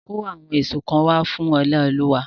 Kó àwọn èso kan wá fún Oláolúwa!